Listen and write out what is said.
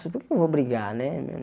Por que eu vou brigar, né né?